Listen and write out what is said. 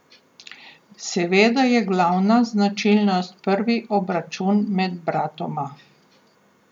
Seveda je glavna značilnost prvi obračun med bratoma.